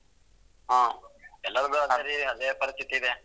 ಹ್ಮ್ ಎಲ್ಲಾರ್ದು ಅದೇ ಅದೇ ಪರಿಸ್ಥಿತಿ ಇದೆ.